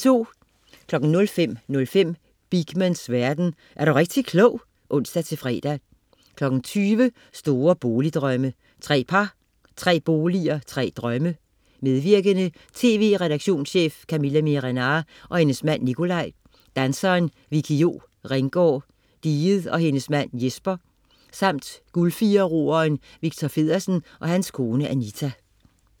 05.05 Beakmans verden. Er du rigtig klog! (ons-fre) 20.00 Store boligdrømme. Tre par, tre boliger, tre drømme. Medvirkende: TV-redaktionschef Camilla Miehe-Renard og hendes mand Nicolai, danseren Vickie Jo Ringgaard Diget og hendes mand Jesper, samt Guldfirer-roeren Victor Feddersen og hans kone Anita